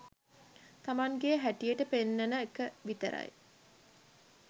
තමන්ගේ හැටියට පෙන්නන එක විතරයි